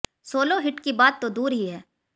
solo hit की बात तो दूर ही है